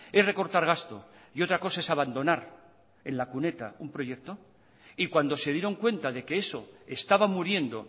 es recortar gasto y otra cosa es abandonar en la cuneta un proyecto y cuando se dieron cuenta de que eso estaba muriendo